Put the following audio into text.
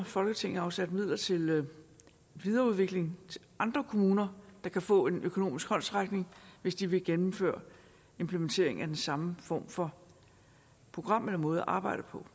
folketinget har afsat midler til videreudvikling i andre kommuner der kan få en økonomisk håndsrækning hvis de vil gennemføre implementering af den samme form for program eller måde at arbejde på